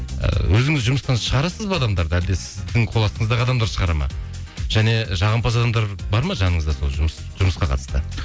ыыы өзіңіз жұмыстан шығарасыз ба адамдарды әлде сіздің қоластыңыздағы адамдар шығарады ма және жағымпаз адамдар бар ма жаныңызда сол жұмысқа қатысты